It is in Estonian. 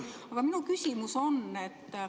Aga minu küsimus.